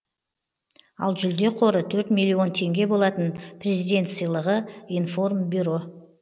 ал жүлде қоры төрт миллион теңге болатын президент сыйлығы информбюро